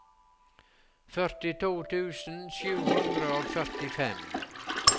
førtito tusen sju hundre og førtifem